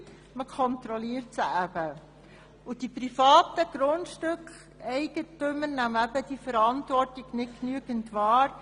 Man kontrolliert sie, doch die privaten Grundeigentümer nehmen diese Verantwortung nicht genügend wahr.